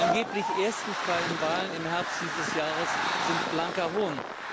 Die angeblich ersten freien Wahlen im Herbst dieses Jahres sind blanker Hohn.